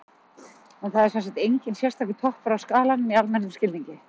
En það er sem sagt enginn sérstakur toppur á skalanum í almennum skilningi.